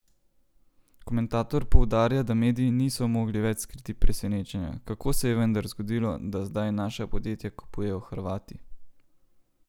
Komentator poudarja, da mediji niso mogli več skriti presenečenja, kako se je vendar zgodilo, da zdaj naša podjetja kupujejo Hrvati?